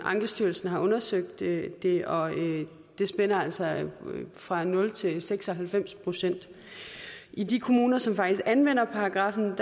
ankestyrelsen har undersøgt det det og det spænder altså fra nul til seks og halvfems procent i de kommuner som faktisk anvender paragraffen